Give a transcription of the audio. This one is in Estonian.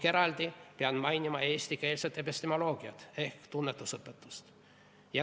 Eraldi pean mainima eestikeelset epistemoloogiat ehk tunnetusõpetust.